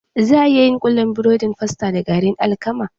Za a iya yin kullun burodin fasta da garin alkama